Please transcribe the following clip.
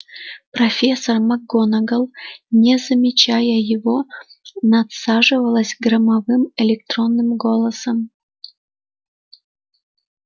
профессор макгонагалл не замечая его надсаживалась громовым электронным голосом